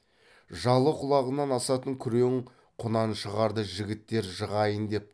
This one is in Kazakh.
жалы құлағынан асатын күрең құнаншығарды жігіттер жығайын деп